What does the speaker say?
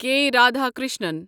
کے Radhakrishnan